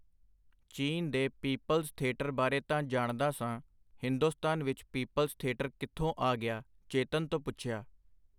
ਚੀਨ ਦੇ people's theatre ਬਾਰੇ ਤਾਂ ਜਾਣਦਾ ਸਾਂ, ਹਿੰਦੁਸਤਾਨ ਵਿਚ ਪੀਪਲਜ਼ ਥੇਟਰ ਕਿੱਥੋਂ ਆ ਗਿਆ? ਚੇਤਨ ਤੋਂ ਪੁਛਿਆ.